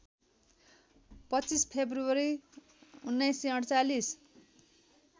२५ फेब्रुअरी १९४८